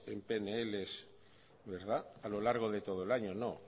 en pnl a lo largo de todo el año